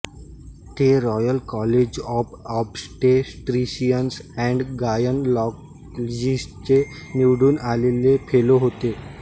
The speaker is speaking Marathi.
ते Royal College of Obstetricians and गायनॅकॉलॉजिस्टचे निवडून आलेले फेलो होते